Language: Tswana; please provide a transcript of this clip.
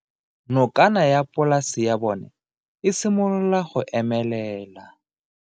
Nokana ya polase ya bona, e simolola go omelela.